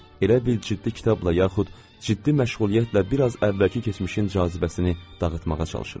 Elə bil ciddi kitabla yaxud ciddi məşğuliyyətlə biraz əvvəlki keçmişin cazibəsini dağıtmağa çalışıram.